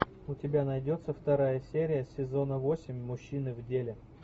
у тебя найдется вторая серия сезона восемь мужчины в деле